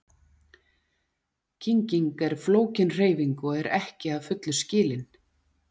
Kynging er flókin hreyfing og er ekki að fullu skilin.